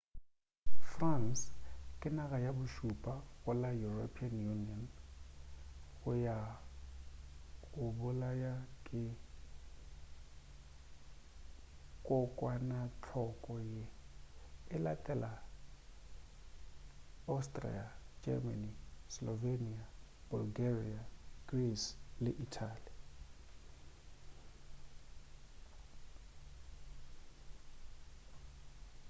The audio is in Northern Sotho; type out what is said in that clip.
france ke naga ya bošupa go la european union ya go bolaya ke kokwanahloko ye e latela austria germany slovenia bulgaria greece le italy